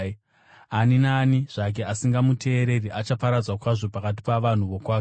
Ani naani zvake asingamuteereri achaparadzwa kwazvo pakati pavanhu vokwake.’